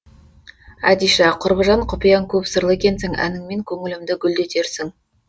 әдиша құрбыжан құпияң көп сырлы екенсің әніңмен көңілімді гүлдетерсің